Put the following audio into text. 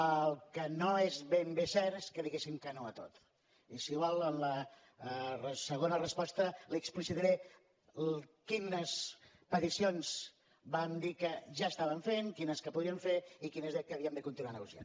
el que no és ben bé cert és que diguéssim que no a tot i si vol en la segona resposta li explicitaré quines peticions vam dir que ja estàvem fent quines que podríem fer i quines que havíem de continuar negociant